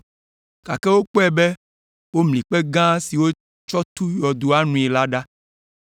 gake wokpɔe be womli kpe gã si wotsɔ tu yɔdoa nui la ɖa.